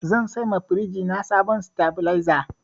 Zan siyowa firinji na sabuwar sitabileza.